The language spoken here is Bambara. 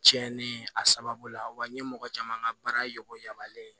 Cɛnni a sababu la wa n ye mɔgɔ caman ka baara yɔgo yamaruyalen ye